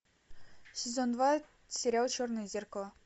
сезон два сериал черное зеркало